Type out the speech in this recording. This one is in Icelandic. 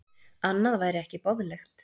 Annað væri ekki boðlegt